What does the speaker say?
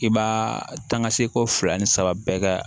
I b'a ta ka seko fila ni saba bɛɛ kɛ